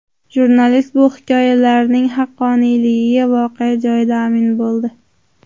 Jurnalist bu hikoyalarning haqqoniyligiga voqea joyida amin bo‘ldi.